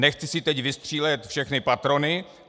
Nechci si teď vystřílet všechny patrony.